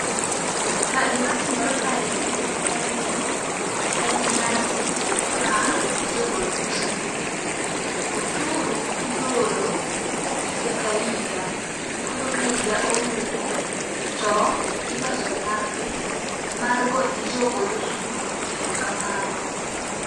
Ka gima timore kaendi en ni en nyasi mar jogol ushuru . Osuru igolo higa ka higa koro ka higa orumo tiloso nyasi mar gone jogol ushuru erokamano.